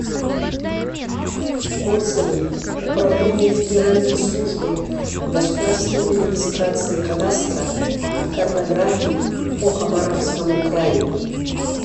отзывы управление федеральной службы государственной регистрации кадастра и картографии по хабаровскому краю